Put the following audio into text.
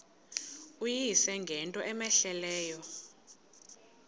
uyise ngento cmehleleyo